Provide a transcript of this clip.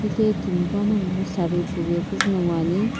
hilehi timi panoguwu saree puve puzü no ngoani.